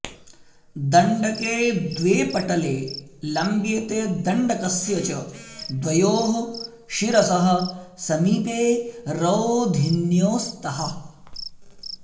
दण्डके द्वे पटले लम्ब्येते दण्डकस्य च द्वयोः शिरसः समीपे रोधिन्यौ स्तः